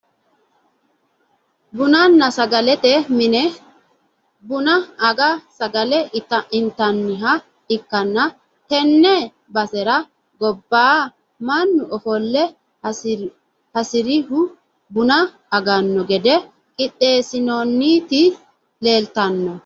bununna sagalete mine buna ange sagale intanniha ikkanna, tenne basera gobba mannu ofolle hasirihu buna aganno gede qixxeessinoonniti leeltanno .